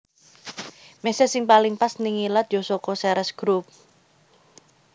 Meses sing paling pas ning ilat yo soko Ceres Group